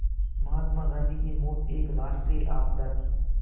महात्मा गांधी की मौत एक राष्ट्रीय आपदा थी